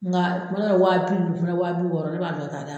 Nka a mana na waati mun, n fɛnɛ waa bi wɔɔrɔ ne b'a bila ka taa d' a ma.